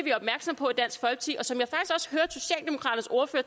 så